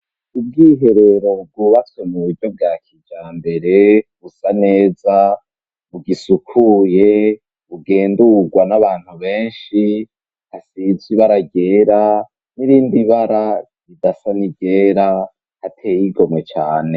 Ubwiherero bwubatswe mu buryo bwa kija mbere busa neza ,bugisukuye bugendurwa n'abantu benshi hasizwe ibara ryera n'irindi bara ridasa n’iryera hateye igomwe cane.